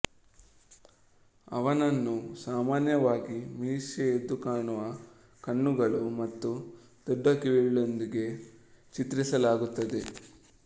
ಅವನನ್ನು ಸಾಮಾನ್ಯವಾಗಿ ಮೀಸೆ ಎದ್ದುಕಾಣುವ ಕಣ್ಣುಗಳು ಮತ್ತು ದೊಡ್ಡ ಕಿವಿಗಳೊಂದಿಗೆ ಚಿತ್ರಿಸಲಾಗುತ್ತದೆ